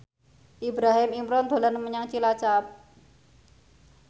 Ibrahim Imran dolan menyang Cilacap